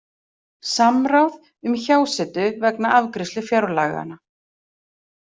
Samráð um hjásetu vegna afgreiðslu fjárlaganna